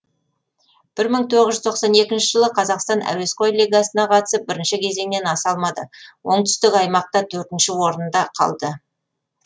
жылы қазақстан әуесқой лигасына қатысып бірінші кезеңнен аса алмады оңтүстік аймақта төртінші орында қалды